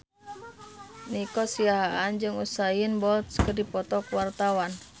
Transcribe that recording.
Nico Siahaan jeung Usain Bolt keur dipoto ku wartawan